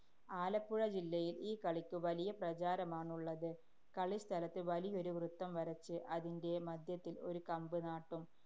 ആലപ്പുഴ ജില്ലയില്‍ ഈ കളിക്ക് വലിയ പ്രചാരമാണുള്ളത്. കളിസ്ഥലത്ത് വലിയൊരു വൃത്തം വരച്ച്, അതിന്‍റെ മധ്യത്തില്‍ ഒരു കമ്പ് നാട്ടും.